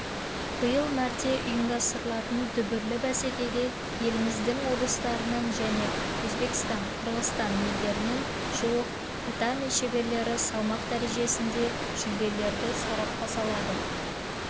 биыл мәрте ұйымдастырылатын дүбірлі бәсекеге еліміздің облыстарынан және өзбекстан қырғызстан елдерінен жуық татами шеберлері салмақ дәрежесінде жүлделерді сарапқа салады